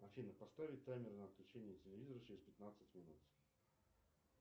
афина поставить таймер на отключение телевизора через пятнадцать минут